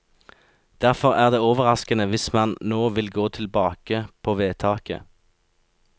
Derfor er det overraskende hvis man nå vil gå tilbake på vedtaket.